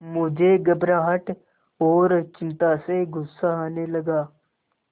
मुझे घबराहट और चिंता से गुस्सा आने लगा